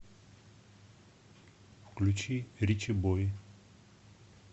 включи ричибой